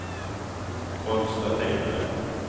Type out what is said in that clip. konstaterade